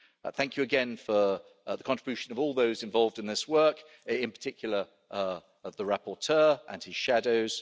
Thank you again for the contribution of all those involved in this work, in particular the rapporteur and his shadows.